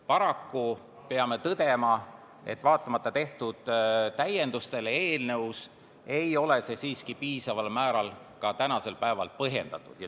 Paraku peame tõdema, et vaatamata eelnõus tehtud täiendustele, ei ole see siiski piisaval määral ka tänasel päeval põhjendatud.